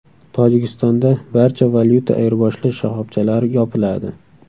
Tojikistonda barcha valyuta ayirboshlash shoxobchalari yopiladi.